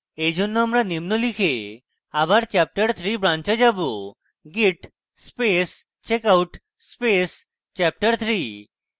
এইজন্য আমি নিম লিখে আবার chapterthree branch যাবো git space checkout space chapterthree